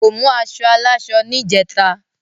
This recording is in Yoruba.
kò mú aṣọ aláṣọ ni ìjeta